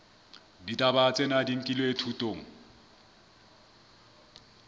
ditaba tsena di nkilwe thutong